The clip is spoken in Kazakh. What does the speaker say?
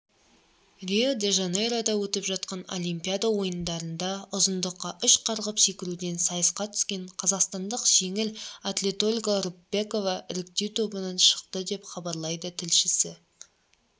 рио-де-жанейрода өтіп жатқан олимпиада ойындарында ұзындыққа үш қарғып секіруден сайысқа түскен қазақстандық жеңіл атлетольга рыпакова іріктеу тобынан шықты деп хабарлайды тілшісі